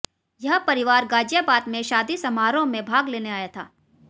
यह परिवार ग़ाज़ियाबाद में शादी समारोह में भाग लेने आया था